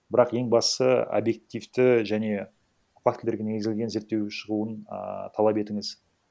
бірақ ең бастысы объективті және фактілерге негізделген зерттеу шығуын ааа талап етіңіз